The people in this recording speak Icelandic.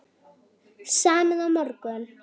Samið á morgun